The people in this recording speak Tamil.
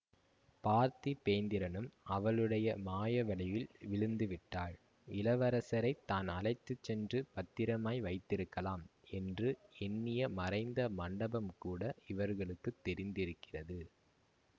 பார்த்திபேந்திரனும் அவளுடைய மாய வலையில் விழுந்து விட்டான் இளவரசரை தான் அழைத்து சென்று பத்திரமாய் வைத்திருக்கலாம் என்று எண்ணிய மறைந்த மண்டபம் கூட இவர்களுக்குத் தெரிந்திருக்கிறது